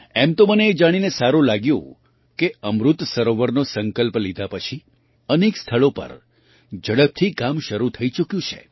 એમ તો મને એ જાણીને સારું લાગ્યું કે અમૃત સરોવરનો સંકલ્પ લીધા પછી અનેક સ્થળો પર ઝડપથી કામ શરૂ થઈ ચૂક્યું છે